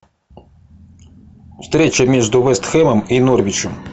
встреча между вест хэмом и норвичем